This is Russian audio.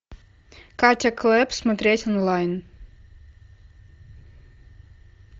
катя клэп смотреть онлайн